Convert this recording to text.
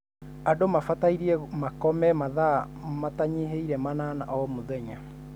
Andũ mabatie makome mathaa matanyihĩire manana o mũthenya.